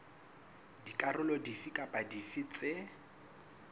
dikarolo dife kapa dife tse